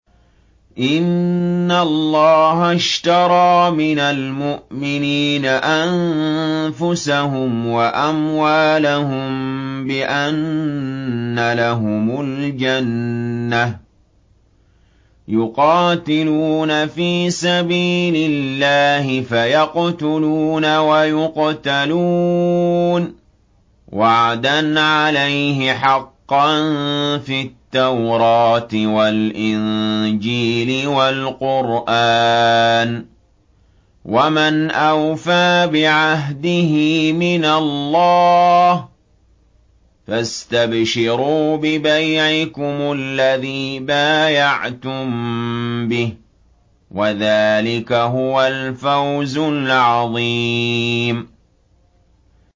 ۞ إِنَّ اللَّهَ اشْتَرَىٰ مِنَ الْمُؤْمِنِينَ أَنفُسَهُمْ وَأَمْوَالَهُم بِأَنَّ لَهُمُ الْجَنَّةَ ۚ يُقَاتِلُونَ فِي سَبِيلِ اللَّهِ فَيَقْتُلُونَ وَيُقْتَلُونَ ۖ وَعْدًا عَلَيْهِ حَقًّا فِي التَّوْرَاةِ وَالْإِنجِيلِ وَالْقُرْآنِ ۚ وَمَنْ أَوْفَىٰ بِعَهْدِهِ مِنَ اللَّهِ ۚ فَاسْتَبْشِرُوا بِبَيْعِكُمُ الَّذِي بَايَعْتُم بِهِ ۚ وَذَٰلِكَ هُوَ الْفَوْزُ الْعَظِيمُ